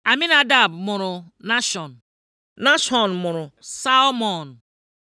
Aminadab mụrụ Nashọn Nashọn mụrụ Salmọn